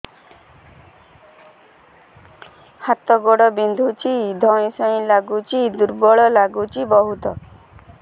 ହାତ ଗୋଡ ବିନ୍ଧୁଛି ଧଇଁସଇଁ ଲାଗୁଚି ଦୁର୍ବଳ ଲାଗୁଚି ବହୁତ